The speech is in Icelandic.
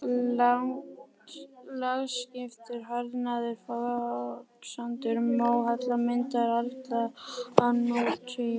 Lagskiptur harðnaður foksandur, móhella, myndaður árla á nútíma.